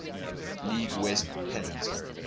league west pennant